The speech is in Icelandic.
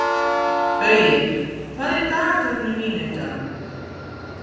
Baui, hvað er í dagatalinu mínu í dag?